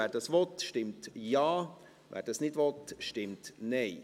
Wer dies will, stimmt Ja, wer dies nicht will, stimmt Nein.